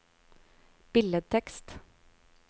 billedtekst